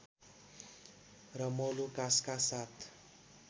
र मोलुकासका साथ